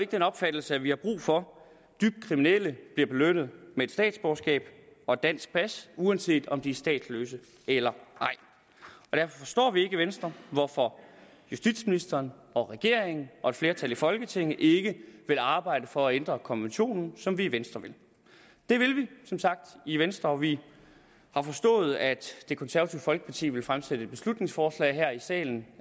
den opfattelse at vi har brug for at dybt kriminelle bliver belønnet med et statsborgerskab og et dansk pas uanset om de er statsløse eller ej derfor forstår vi ikke i venstre hvorfor justitsministeren og regeringen og et flertal i folketinget ikke vil arbejde for at ændre konventionen som vi i venstre vil det vil vi som sagt i venstre og vi har forstået at det konservative folkeparti vil fremsætte et beslutningsforslag her i salen